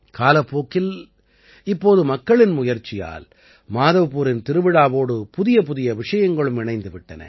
காலப்போக்கில் இப்போது மக்களின் முயற்சியால் மாதவ்பூரின் திருவிழாவோடு புதியபுதிய விஷயங்களும் இணைந்து விட்டன